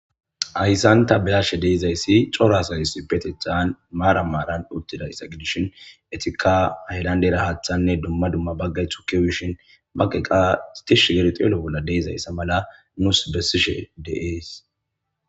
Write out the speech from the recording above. ayssanta bilashe deizayssi corasayyss betethan maara maaran uttida issa gidishin etikka hedandeera haaththanne duma duma baggay thukiwishin baqeqa tish geri xeelo bolla deizayssa mala nusi bessishe de7ees